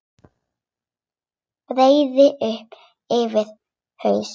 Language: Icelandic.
Breiði upp yfir haus.